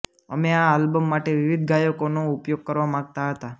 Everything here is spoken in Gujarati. અમે આ આલ્બમ માટે વિવિધ ગાયકોનો ઉપયોગ કરવા માગતા હતા